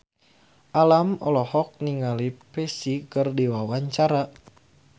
Alam olohok ningali Psy keur diwawancara